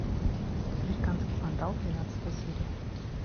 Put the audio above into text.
американский вандал двенадцатая серия